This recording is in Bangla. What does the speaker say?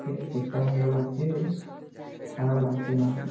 ছেশ দেখতে ভালো লাগছে বেশ খারাপ লাগছে না।